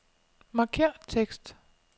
Markér tekst.